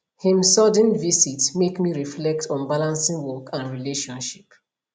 him sudden visit make me reflect on balancing work and relationship